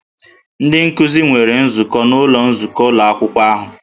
Ndị nkuzi nwere nzukọ n'ụlọ nzukọ ụlọ akwụkwọ ahụ